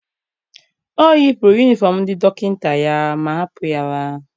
O yipụrụ yunifọm ndị dọkịta ya ma hapụ ya laa.